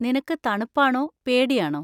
നിനക്ക് തണുപ്പാണോ പേടിയാണോ?